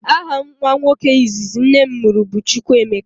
Aha nwa nwoke izizi nnem muru bu chukwuemeka.